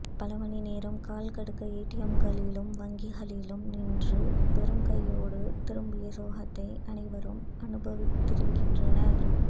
பல மணிநேரம் கால்கடுக்க ஏடிஎம்களிலும் வங்கிகளிலும் நின்று வெறும் கையோடு திரும்பிய சோகத்தை அனைவரும் அனுபவித்திருக்கின்றனர்